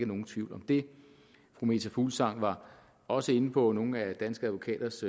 nogen tvivl om det fru meta fuglsang var også inde på nogle af danske advokaters